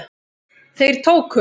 Þeir tóku